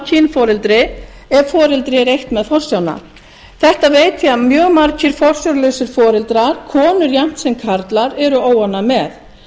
kynforeldri ef foreldri er eitt með forsjána þetta veit ég að mjög margir forsjárlausir foreldrar konur jafnt sem karlar eru óánægð með